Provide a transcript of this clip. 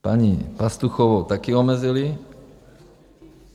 Paní Pastuchovou taky omezili.